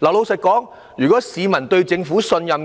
老實說，如果市民信任政府，哪